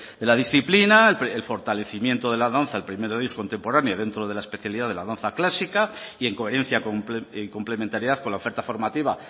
de la disciplina el fortalecimiento de la danza el primero de ellos contemporánea dentro de la especialidad de la danza clásica y en coherencia y complementariedad con la oferta formativa